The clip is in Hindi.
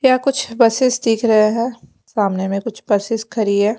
यहां कुछ बसेस दिख रहे हैं। सामने में कुछ बसेस खरी है।